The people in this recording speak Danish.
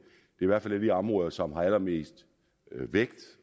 i hvert fald er de områder som har allermest vægt